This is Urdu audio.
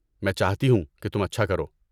میں چاہتی ہوں کہ تم اچھا کرو۔